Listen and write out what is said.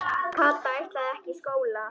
Kata ætlaði ekki í skóla.